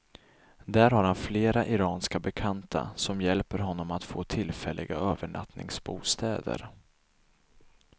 Där har han flera iranska bekanta som hjälper honom att få tillfälliga övernattningsbostäder.